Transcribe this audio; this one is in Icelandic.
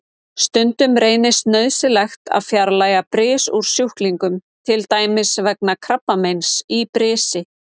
Stundum reynist nauðsynlegt að fjarlægja bris úr sjúklingum, til dæmis vegna krabbameins í brisi.